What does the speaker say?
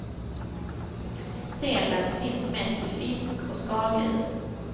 Selen finns mest i fisk och skaldjur.